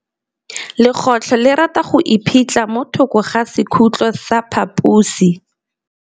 Legôtlô le rata go iphitlha mo thokô ga sekhutlo sa phaposi.